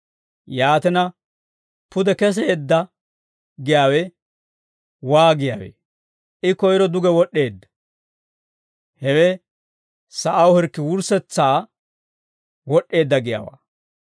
Yaatina, «Pude keseedda» giyaawe waagiyaawee? I koyiro duge wod'd'eedda; hewe sa'aw hirkki wurssetsasaa wod'd'eedda giyaawaa.